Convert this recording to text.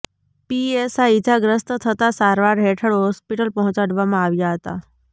PSI ઇજાગ્રસ્ત થતા સારવાર હેઠળ હોસ્પિટલ પહોંચાડવામાં આવ્યા હતા